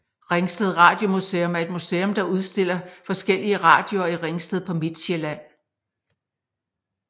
Ringsted Radiomuseum er et museum der udstiller forskellige radioer i Ringsted på Midtsjælland